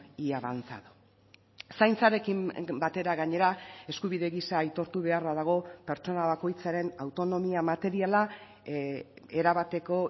y avanzado zaintzarekin batera gainera eskubide gisa aitortu beharra dago pertsona bakoitzaren autonomia materiala erabateko